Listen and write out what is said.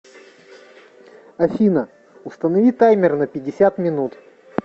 афина установи таймер на пятьдесят минут